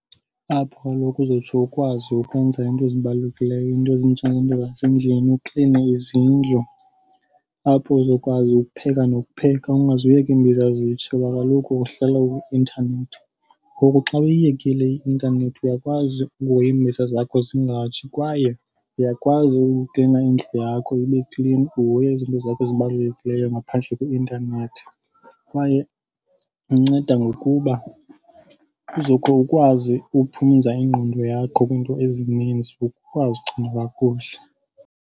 Apho kaloku uzotsho ukwazi ukwenza iinto ezibalulekileyo, iinto ezinjengento zasendlini ukline izindlu. Apho uzokwazi ukupheka nokupheka ungaziyeki iimbiza zitshe kuba kaloku uhlala kwi-intanethi. Ngoku xa uyiyekile i-intanethi, uyakwazi ukuhoya iimbiza zakho zingatshi, kwaye uyakwazi ukuklina indlu yakho ibe klini uhoye izinto zakho ezibalulekileyo ngaphandle kweintanethi. Kwaye inceda ngokuba uzotsho ukwazi ukuphumza ingqondo yakho kwiinto ezininzi, ukwazi ukucinga kakuhle.